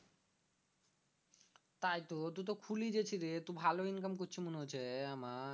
তাইতো তুই তো খুলি গেছে রে তু ভালো income করছি মনে হচ্ছে আমার